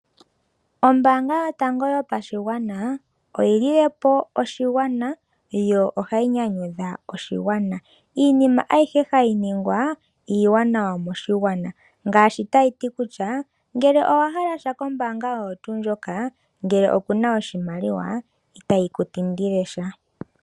Ombaanga yotango yopashigwana oyi lile po oshigwana, yo ohayi nyanyudha oshigwana. Iinima ayihe hayi ningwa iiwanawa moshigwana ngaashi tayi ti kutya: ngele owa hala sha kombaanga oyo tuu ndjoka, ngele oku na oshimaliwa, itayi ku tindile sha.